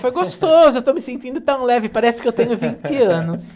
Foi gostoso, eu estou me sentindo tão leve, parece que eu tenho vinte anos.